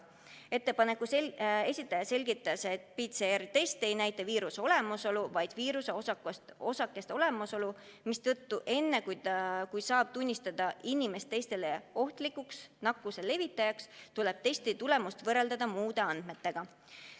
Ettepaneku esitaja selgitas, et PCR-test ei näita viiruse olemasolu, vaid viiruseosakeste olemasolu, mistõttu enne, kui saab tunnistada inimese teistele ohtlikuks nakkuselevitajaks, tuleb testi tulemust võrrelda muude andmetega.